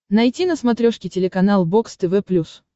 найти на смотрешке телеканал бокс тв плюс